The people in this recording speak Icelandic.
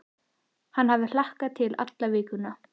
Hann hafi hlakkað til alla vikuna.